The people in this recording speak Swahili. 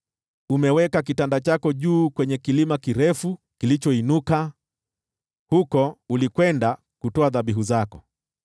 Umeweka kitanda chako juu kwenye kilima kirefu kilichoinuka, huko ulikwenda kutoa dhabihu zako.